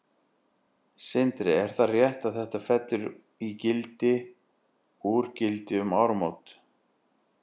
Sindri: Er það rétt að þetta fellur í gildi úr gildi um áramót?